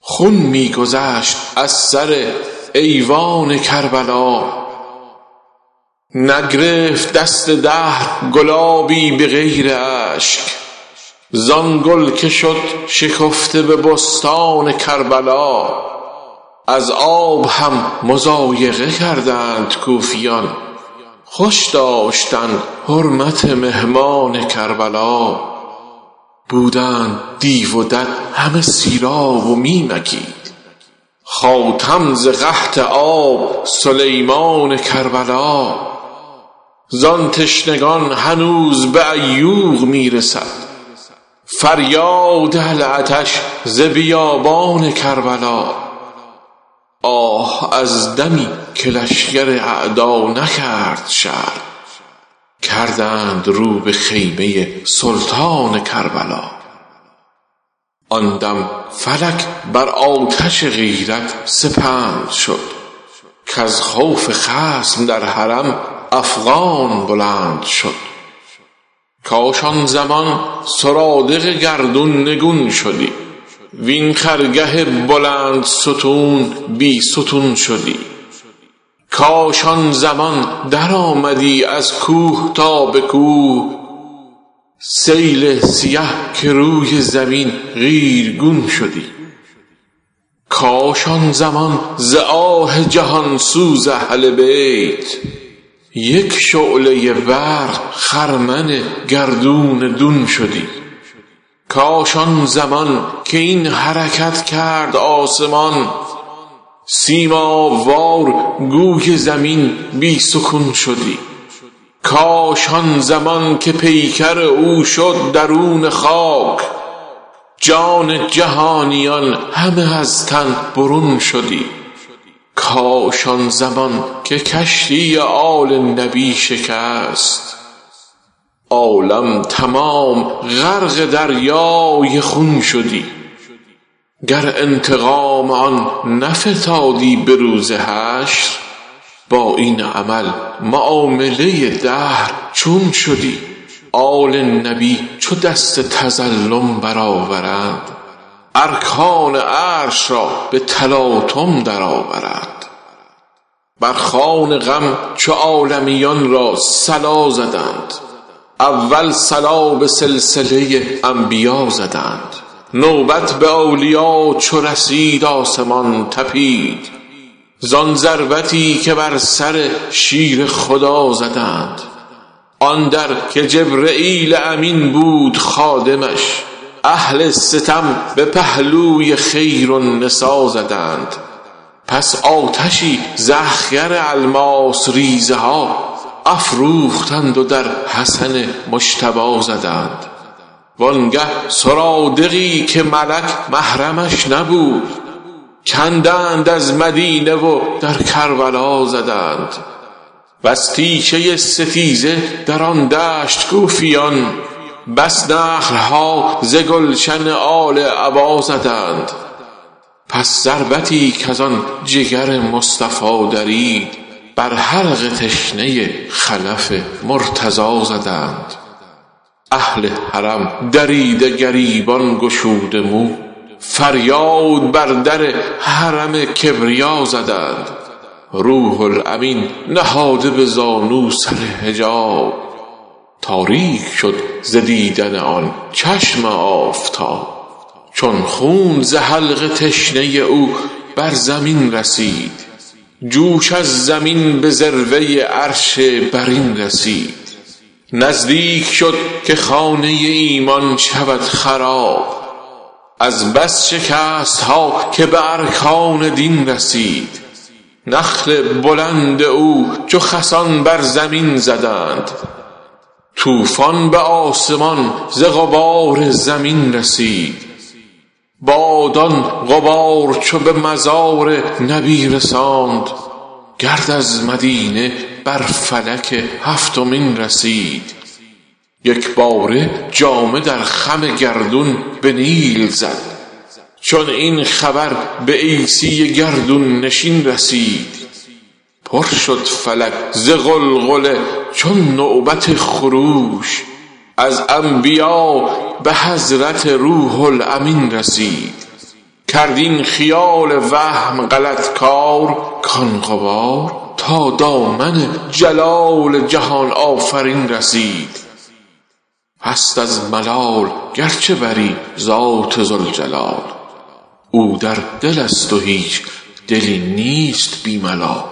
خون می گذشت از سر ایوان کربلا نگرفت دست دهر گلابی به غیر اشک- زآن گل که شد شکفته به بستان کربلا از آب هم مضایقه کردند کوفیان خوش داشتند حرمت مهمان کربلا بودند دیو و دد همه سیراب و می مکید- خاتم ز قحط آب سلیمان کربلا زان تشنگان هنوز به عیوق می رسد فریاد العطش ز بیابان کربلا آه از دمی که لشکر اعدا نکرده شرم کردند رو به خیمه سلطان کربلا آن دم فلک بر آتش غیرت سپند شد کز خوف خصم در حرم افغان بلند شد کاش آن زمان سرادق گردون نگون شدی وین خرگه بلندستون بی ستون شدی کاش آن زمان درآمدی از کوه تا به کوه- سیل سیه که روی زمین قیرگون شدی کاش آن زمان ز آه جهان سوز اهل بیت یک شعله برق خرمن گردون دون شدی کاش آن زمان که این حرکت کرد آسمان سیماب وار گوی زمین بی سکون شدی کاش آن زمان که پیکر او شد درون خاک جان جهانیان همه از تن برون شدی کاش آن زمان که کشتی آل نبی شکست عالم تمام غرقه دریای خون شدی گر انتقام آن نفتادی به روز حشر با این عمل معامله دهر چون شدی آل نبی چو دست تظلم برآورند ارکان عرش را به تلاطم درآورند بر خوان غم چو عالمیان را صلا زدند اول صلا به سلسله انبیا زدند نوبت به اولیا چو رسید آسمان تپید زان ضربتی که بر سر شیر خدا زدند آن در که جبرییل امین بود خادمش- اهل ستم به پهلوی خیرالنسا زدند پس آتشی ز اخگر الماس ریزه ها افروختند و در حسن مجتبی زدند وانگه سرادقی که ملک محرمش نبود کندند از مدینه و در کربلا زدند وز تیشه ستیزه در آن دشت کوفیان- بس نخل ها ز گلشن آل عبا زدند پس ضربتی کزان جگر مصطفی درید بر حلق تشنه خلف مرتضی زدند اهل حرم دریده گریبان گشوده مو فریاد بر در حرم کبریا زدند روح الامین نهاده به زانو سر حجاب تاریک شد ز دیدن آن چشم آفتاب چون خون ز حلق تشنه او بر زمین رسید جوش از زمین به ذروه عرش برین رسید نزدیک شد که خانه ایمان شود خراب از بس شکست ها که به ارکان دین رسید نخل بلند او چو خسان بر زمین زدند- طوفان به آسمان ز غبار زمین رسید باد آن غبار چون به مزار نبی رساند گرد از مدینه بر فلک هفتمین رسید یکباره جامه در خم گردون به نیل زد- چون این خبر به عیسی گردون نشین رسید پر شد فلک ز غلغله چون نوبت خروش- از انبیا به حضرت روح الامین رسید کرد این خیال وهم غلط کار کان غبار- تا دامن جلال جهان آفرین رسید هست از ملال گرچه بری ذات ذوالجلال او در دل است و هیچ دلی نیست بی ملال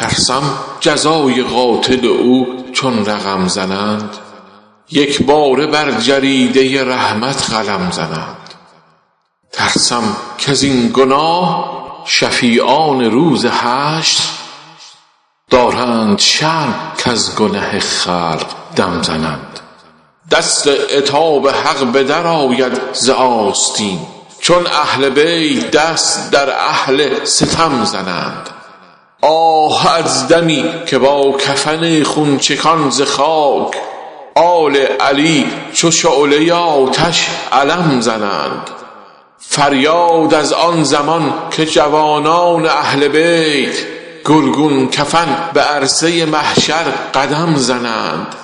ترسم جزای قاتل او چون رقم زنند یکباره بر جریده رحمت قلم زنند ترسم کزین گناه شفیعان روز حشر دارند شرم کز گنه خلق دم زنند دست عتاب حق به در آید ز آستین چون اهل بیت دست در اهل ستم زنند آه از دمی که با کفن خون چکان ز خاک آل علی چو شعله آتش علم زنند فریاد از آن زمان که جوانان اهل بیت گلگون کفن به عرصه محشر قدم زنند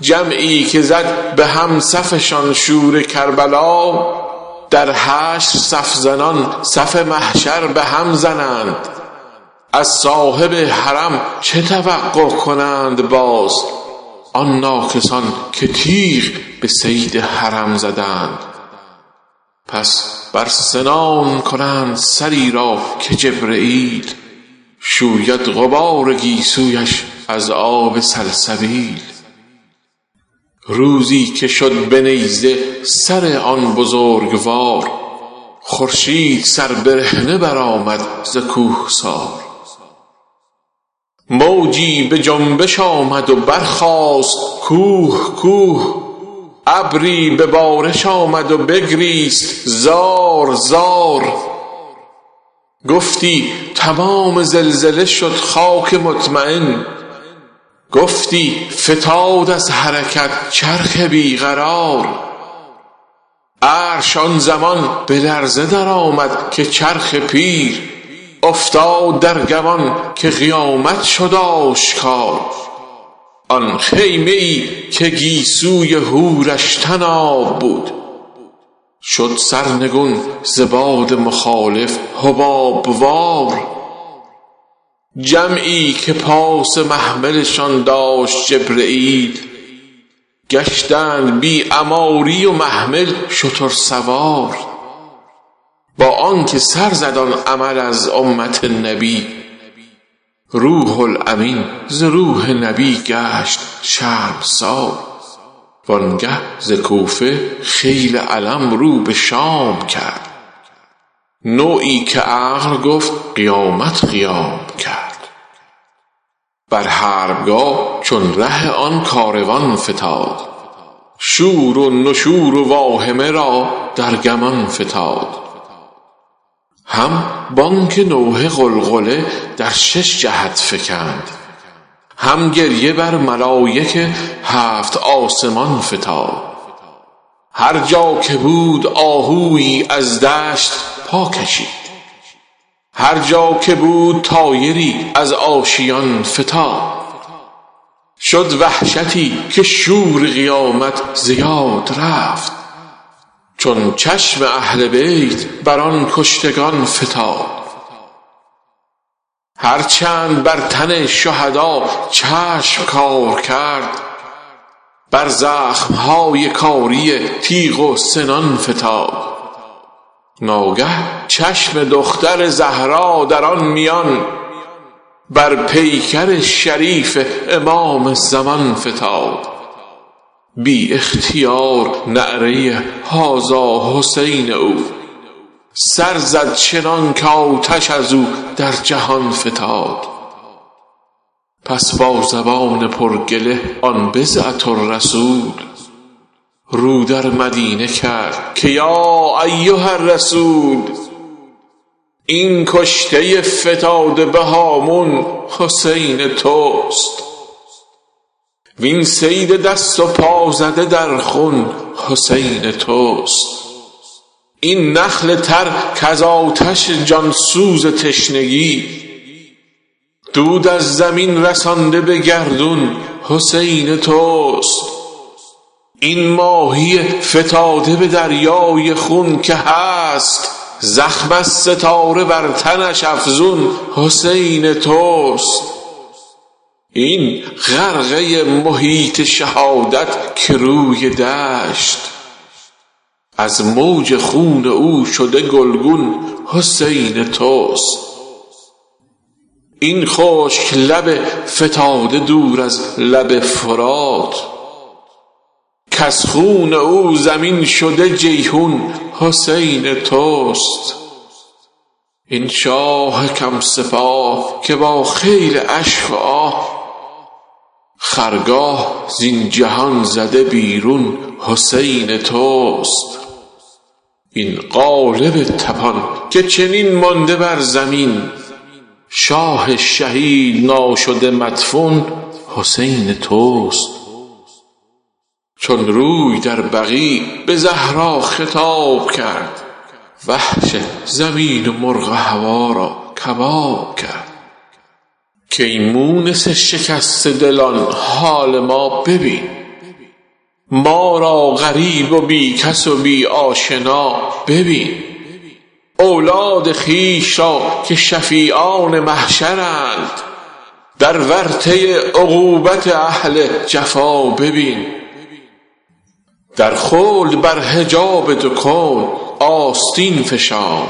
جمعی که زد بهم صفشان شور کربلا- در حشر صف زنان صف محشر بهم زنند از صاحب حرم چه توقع کنند باز آن ناکسان که تیغ به صید حرم زنند پس بر سنان کنند سری را که جبرییل- شوید غبار گیسویش از آب سلسبیل روزی که شد به نیزه سر آن بزرگوار خورشید سربرهنه برآمد ز کوهسار موجی به جنبش آمد و برخاست کوه کوه ابری به بارش آمد و بگریست زار زار گفتی تمام زلزله شد خاک مطمین گفتی فتاد از حرکت چرخ بی قرار عرش آن زمان به لرزه درآمد که چرخ پیر افتاد در گمان که قیامت شد آشکار آن خیمه ای که گیسوی حورش طناب بود شد سرنگون ز باد مخالف حباب وار جمعی که پاس محملشان داشت جبرییل گشتند بی عماری و محمل شترسوار با آن که سر زد آن عمل از امت نبی روح الامین ز روح نبی گشت شرمسار وانگه ز کوفه خیل الم رو به شام کرد نوعی که عقل گفت قیامت قیام کرد بر حربگاه چون ره آن کاروان فتاد شور و نشور و واهمه را در گمان فتاد هم بانگ نوحه غلغله در شش جهت فکند هم گریه بر ملایک هفت آسمان فتاد هرجا که بود آهویی از دشت پا کشید هرجا که بود طایری از آشیان فتاد شد وحشتی که شور قیامت ز یاد رفت چون چشم اهل بیت بر آن کشتگان فتاد هرچند بر تن شهدا چشم کار کرد بر زخم های کاری تیغ و سنان فتاد ناگاه چشم دختر زهرا در آن میان بر پیکر شریف امام زمان فتاد بی اختیار نعره هذا حسین او- -سر زد چنانکه آتش از او در جهان فتاد پس با زبان پر گله آن بضعه بتول رو در مدینه کرد که یا ایهاالرسول این کشته فتاده به هامون حسین توست وین صید دست و پا زده در خون حسین توست این نخل تر کز آتش جان سوز تشنگی دود از زمین رسانده به گردون حسین توست این ماهی فتاده به دریای خون که هست- زخم از ستاره بر تنش افزون حسین توست این غرقه محیط شهادت که روی دشت- از موج خون او شده گلگون حسین توست این خشک لب فتاده دور از لب فرات کز خون او زمین شده جیحون حسین توست این شاه کم سپاه که با خیل اشک و آه خرگاه زین جهان زده بیرون حسین توست این قالب تپان که چنین مانده بر زمین شاه شهید ناشده مدفون حسین توست چون روی در بقیع به زهرا خطاب کرد وحش زمین و مرغ هوا را کباب کرد کای مونس شکسته دلان حال ما ببین ما را غریب و بی کس و بی آشنا ببین اولاد خویش را که شفیعان محشرند در ورطه عقوبت اهل جفا ببین در خلد بر حجاب دو کون آستین فشان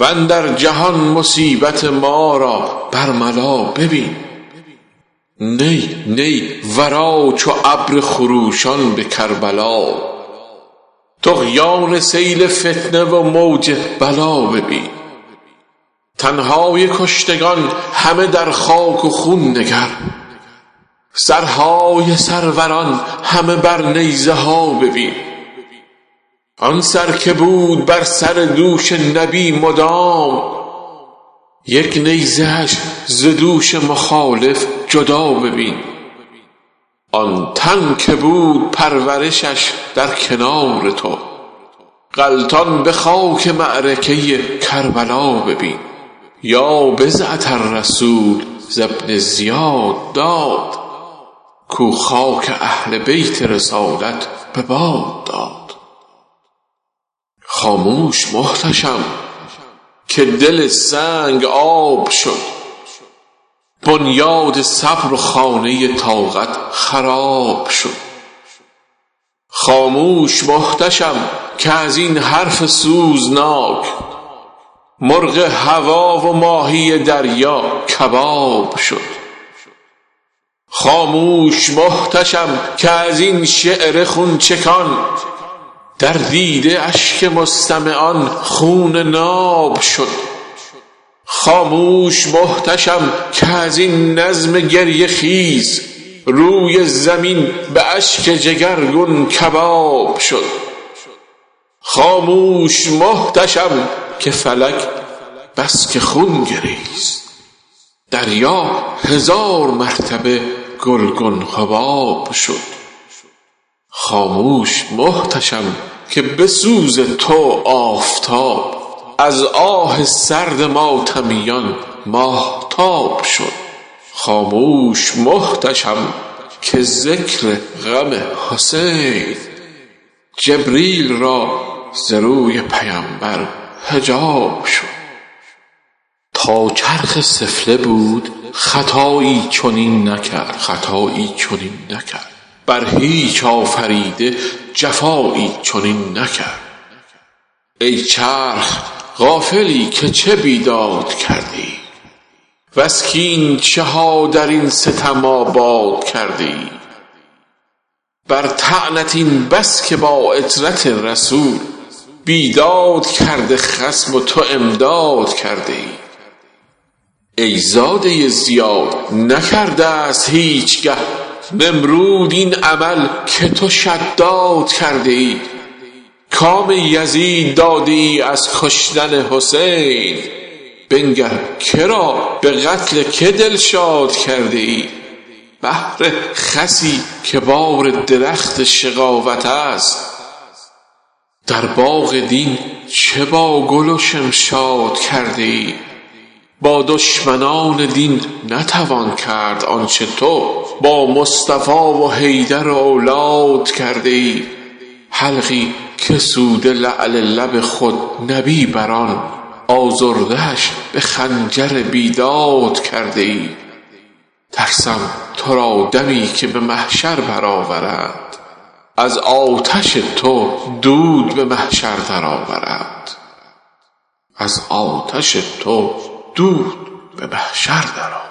واندر جهان مصیبت ما بر ملا ببین نی نی برآ چو ابر خروشان به کربلا طغیان سیل فتنه و موج بلا ببین تن های کشتگان همه در خاک و خون نگر سرهای سروران همه بر نیزه ها ببین آن سر که بود بر سر دوش نبی مدام یک نیزه اش ز دوش مخالف جدا ببین آن تن که بود پرورشش در کنار تو غلتان به خاک معرکه کربلا ببین یا بضعةالرسول ز ابن زیاد داد کو خاک اهل بیت رسالت به باد داد خاموش محتشم که دل سنگ آب شد بنیاد صبر و خانه طاقت خراب شد خاموش محتشم که از این حرف سوزناک مرغ هوا و ماهی دریا کباب شد خاموش محتشم که از این شعر خون چکان در دیده اشک مستمعان خون ناب شد خاموش محتشم که از این نظم گریه خیز روی زمین به اشک جگرگون کباب شد خاموش محتشم که فلک بسکه خون گریست- دریا هزار مرتبه گلگون حباب شد خاموش محتشم که به سوز تو آفتاب از آه سرد ماتمیان ماهتاب شد خاموش محتشم که ز ذکر غم حسین جبریل را ز روی پیمبر حجاب شد تا چرخ سفله بود خطایی چنین نکرد بر هیچ آفریده جفایی چنین نکرد ای چرخ غافلی که چه بیداد کرده ای وز کین چه ها درین ستم آباد کرده ای بر طعنت این بس است که با عترت رسول- بیداد کرده خصم و تو امداد کرده ای ای زاده زیاد نکردست هیچ گه- نمرود این عمل که تو شداد کرده ای کام یزید داده ای از کشتن حسین بنگر که را به قتل که دل شاد کرده ای بهر خسی که بار درخت شقاوتست در باغ دین چه با گل و شمشاد کرده ای با دشمنان دین نتوان کرد آن چه تو با مصطفی و حیدر و اولاد کرده ای حلقی که سوده لعل لب خود نبی بر آن آزرده اش به خنجر بیداد کرده ای ترسم تو را دمی که به محشر برآورند از آتش تو دود به محشر درآورند